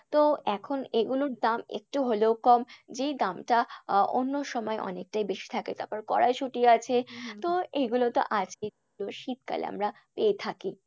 তো এখন এগুলোর দাম একটু হলেও কম। যে দামটা অন্য সময় অনেকটাই বেশি থাকে, তারপর কড়াইসুটি তো এইগুলো তো আছেই তো শীতকালে আমরা পেয়ে থাকি।